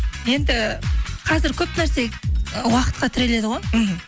енді қазір көп нәрсе ы уақытқа тіреледі ғой мхм